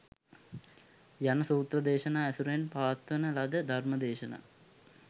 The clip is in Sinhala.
යන සූත්‍ර දේශනා ඇසුරෙන් පවත්වන ලද ධර්ම දේශනා